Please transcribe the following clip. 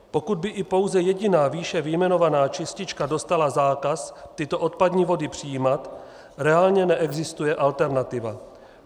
Pokud by i pouze jediná výše vyjmenovaná čistička dostala zákaz tyto odpadní vody přijímat, reálně neexistuje alternativa.